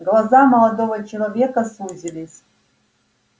глаза молодого человека сузились